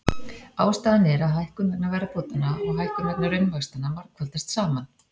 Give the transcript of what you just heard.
Ástæðan er að hækkun vegna verðbótanna og hækkun vegna raunvaxtanna margfaldast saman.